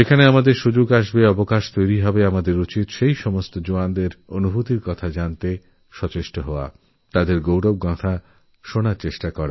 যখনআমাদের কাছে অবকাশ আসে যখন সুযোগ পাই তখন আমাদের জওয়ানদের অভিজ্ঞতা জানা উচিততাঁদের গৌরবগাথা শোনা উচিত